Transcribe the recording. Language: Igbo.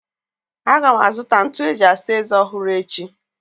Aga m azụta ntụ eji asa eze ọhụrụ echi.